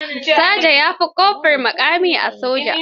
Saja ya fi kofur muƙami a soja.